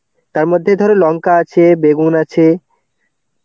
তার মধ্যে ধরো লঙ্কা আছে, বেগুন আছে.